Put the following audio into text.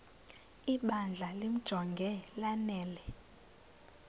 ibandla limjonge lanele